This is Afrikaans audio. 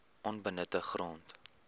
onbenutte grond